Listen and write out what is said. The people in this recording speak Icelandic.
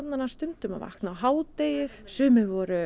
stundum á hádegi sumir voru